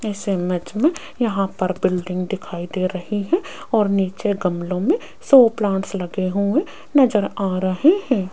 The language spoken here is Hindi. इस इमेज में यहां पर बिल्डिंग दिखाई दे रही है और नीचे गमलों में सो प्लांट्स लगे हुए नज़र आ रहे है।